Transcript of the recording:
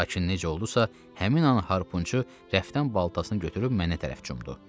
Lakin necə oldusa, həmin an harpunçu rəfdən baltasını götürüb mənə tərəf cumdu.